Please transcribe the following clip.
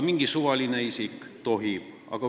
Mingi suvaline isik tohib.